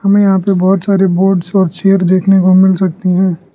हमें यहां पे बहुत सारे बोर्ड्स और चेयर देखने को मिल सकती हैं।